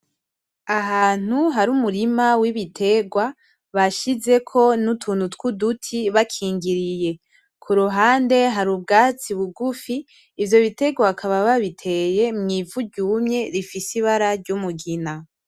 Ahantu har'umurima w'ibiterwa bashizeko N’utuntu tuduti bakigiriye, kuruhande hari ubwatsi bugufi ivyo biterwa bakaba babiteye mw'ivu ryumye rifise ibara ry'umugina.